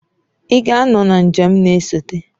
Ị ga-anọ na njem na-esote.